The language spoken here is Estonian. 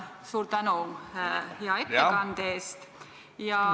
Suur tänu hea ettekande eest!